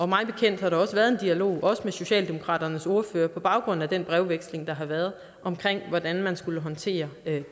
mig bekendt har der også været en dialog med socialdemokratiets ordfører på baggrund af den brevveksling der har været om hvordan man skulle håndtere